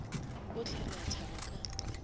bohle re a thaba ka